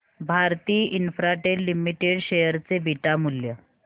Bharti Infratel limited share चे beta मूल्य